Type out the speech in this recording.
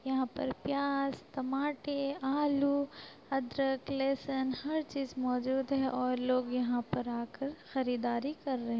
यहाँ पर प्याज टमाटे आलू अदरक लहसुन हर चीज मौजूद है और लोग यहाँ पर आकर खरीदारी कर रहे --